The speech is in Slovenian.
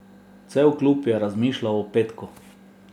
Cel klub je razmišljal o petku.